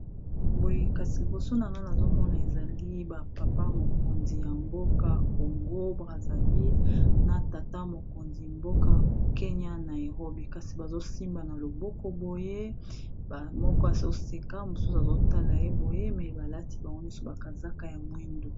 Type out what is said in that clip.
Boye kasi liboso na wana azomona ezali ba papa mokonzi ya mboka congo braseville na tata mokonzi mboka kenya na erobi kasi bazosimba na loboko boye moko azoseka mosusu azotala ye boye me balati bango nyonso bakazaka ya mwindu